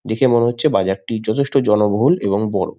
দেখে মনে হচ্ছে বাজারটি যথেষ্ট জনবল এবং বড়।